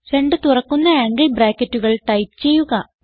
രണ്ട് തുറക്കുന്ന ആംഗിൾ ബ്രാക്കറ്റുകൾ ടൈപ്പ് ചെയ്യുക